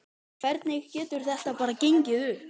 Hvernig getur þetta bara gengið upp?